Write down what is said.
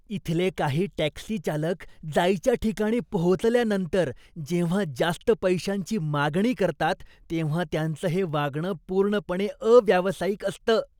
इथले काही टॅक्सी चालक जायच्या ठिकाणी पोहोचल्यानंतर जेव्हा जास्त पैशांची मागणी करतात तेव्हा त्यांचं हे वागणं पूर्णपणे अव्यावसायिक असतं.